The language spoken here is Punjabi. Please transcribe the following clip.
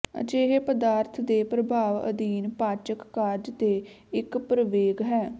ਅਜਿਹੇ ਪਦਾਰਥ ਦੇ ਪ੍ਰਭਾਵ ਅਧੀਨ ਪਾਚਕ ਕਾਰਜ ਦੇ ਇੱਕ ਪ੍ਰਵੇਗ ਹੈ